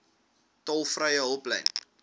tolvrye hulplyn